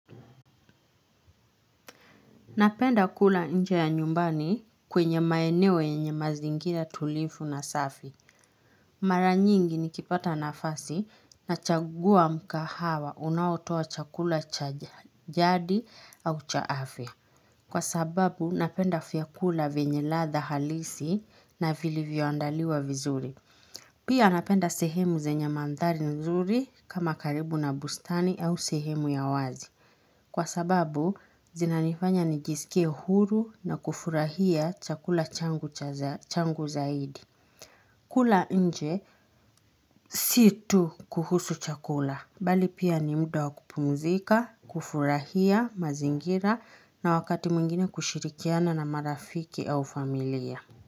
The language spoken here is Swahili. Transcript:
Napenda kula nje ya nyumbani kwenye maeneo yenye mazingira tulivu na safi. Mara nyingi nikipata nafasi nachagua mkahawa unaotoa chakula cha jadi au cha afya. Kwa sababu napenda vyakula vyenye ladha halisi na vilivyo andaliwa vizuri. Pia napenda sehemu zenye maandhari nzuri kama karibu na bustani au sehemu ya wazi. Kwa sababu, zinanifanya nigisike huru na kufurahia chakula changu zaidi. Kula nje, sio tu kuhusu chakula. Bali pia ni muda wa kupumzika, kufurahia mazingira na wakati mwingine kushirikiana na marafiki au familia.